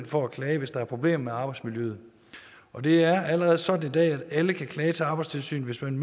for at klage hvis der er problemer med arbejdsmiljøet og det er allerede sådan i dag at alle kan klage til arbejdstilsynet hvis man